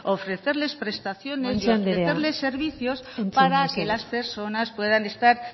ofrecerles prestaciones guanche andrea entzun mesedez ofrecerles servicios para que las personas puedan estar